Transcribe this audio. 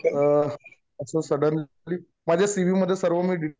अ suddenly माझ्या C V मध्ये सर्व मी डिटेल